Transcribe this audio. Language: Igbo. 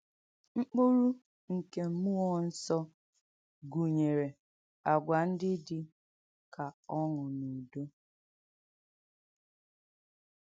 M̀kpúrù nkè m̀múọ̀ nsọ̀ gùnyèrè àgwà ndí dì kà ọ́ṅụ́ nà ùdọ̀.